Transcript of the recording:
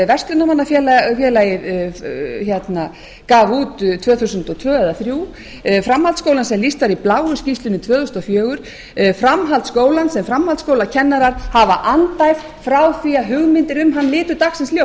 verslunarmannafélagið gaf út tvö þúsund og tvö eða tvö þúsund og þrjú framhaldsskólann sem lýst var í bláu skýrslunni tvö þúsund og fjögur framhaldsskólann sem framhaldsskólakennarar hafa andæft frá því að hugmyndir um hann litu dagsins ljós